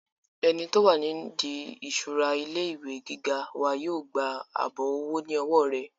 ẹni tó wà ní ìdí ìṣura ilé ìwé gíga wa yóò gba àbọ̀ owó ní ọwọ́ rẹ̀